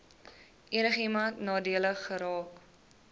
enigiemand nadelig geraak